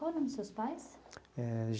Qual o nome dos seus pais? Eh.